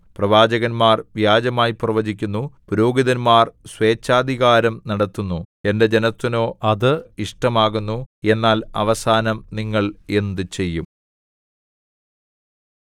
പ്രവാചകന്മാർ വ്യാജമായി പ്രവചിക്കുന്നു പുരോഹിതന്മാർ സ്വേച്ഛാധികാരം നടത്തുന്നു എന്റെ ജനത്തിനോ അത് ഇഷ്ടം ആകുന്നു എന്നാൽ അവസാനം നിങ്ങൾ എന്ത് ചെയ്യും